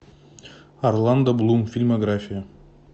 орландо блум фильмография